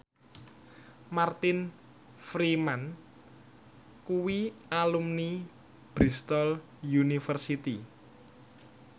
Martin Freeman kuwi alumni Bristol university